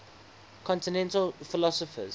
continental philosophers